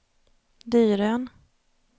Dyrön